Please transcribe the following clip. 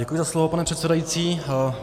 Děkuji za slovo, pane předsedající.